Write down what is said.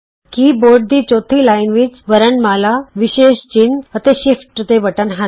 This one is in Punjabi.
ਕੀ ਬੋਰਡ ਦੀ ਚੌਥੀ ਲਾਈਨ ਵਿੱਚ ਵਰਣਮਾਲਾ ਵਿਸ਼ੇਸ਼ ਚਿੰਨ੍ਹ ਅਤੇ ਸ਼ਿਫਟ ਦੇ ਬਟਨ ਹਨ